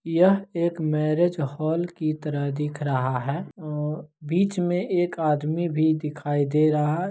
ये एक marriage hall की तरह दिख रहा हैं अ बीच मे एक आदमी भी दिखाई दे रहा हैं।